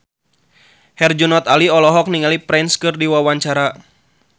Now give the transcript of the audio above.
Herjunot Ali olohok ningali Prince keur diwawancara